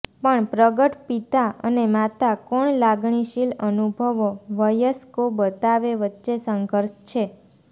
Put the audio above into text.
પણ પ્રગટ પિતા અને માતા કોણ લાગણીશીલ અનુભવો વયસ્કો બતાવે વચ્ચે સંઘર્ષ છે